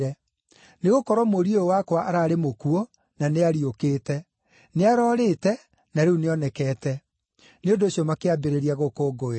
Nĩgũkorwo mũriũ ũyũ wakwa ararĩ mũkuũ na nĩariũkĩte; nĩarorĩte na rĩu nĩonekete.’ Nĩ ũndũ ũcio makĩambĩrĩria gũkũngũĩra.